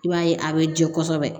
I b'a ye a bɛ jɛ kosɛbɛ